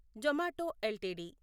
Zomato LTD